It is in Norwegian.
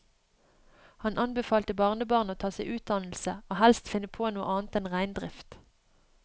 Han anbefalte barnebarnet å ta seg utdannelse, og helst finne på noe annet enn reindrift.